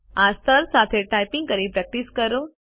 આ સ્તર સાથે ટાઇપ કરીને પ્રેક્ટિસ કરો